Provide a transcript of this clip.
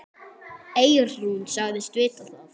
Eyrún sagðist vita það.